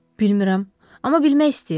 Bilmirəm, amma bilmək istəyirəm.